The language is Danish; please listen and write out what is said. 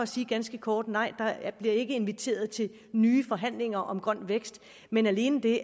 sige ganske kort nej der bliver ikke inviteret til nye forhandlinger om grøn vækst men alene det